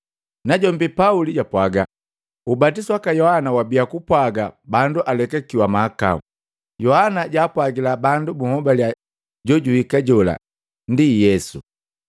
Najombi Pauli japwaga, “Ubatisu waka Yohana wabiya gupwaga bandu alekakiwa mahakau. Yohana jaapwagila bandu bunhobaliya jojuhika jola, ndi Yesu.”